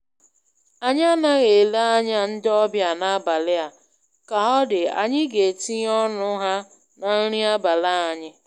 Anyị anaghị ele anya ndị ọbịa n'abalị a, ka ọ dị, anyị ga-etinye ọnụ ha na nri abalị anyị.